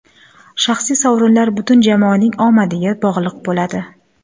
Shaxsiy sovrinlar butun jamoaning omadiga bog‘liq bo‘ladi.